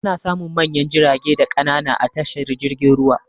Ana samun manyan jirage da ƙanana a tashar jirgin ruwa.